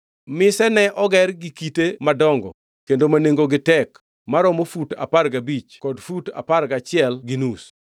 Mise ne oger gi kite madongo kendo ma nengogi tek maromo fut apar gabich kod fut apar gachiel gi nus.